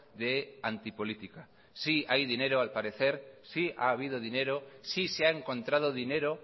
de anti política sí hay dinero al parecer sí ha habido dinero sí se ha encontrado dinero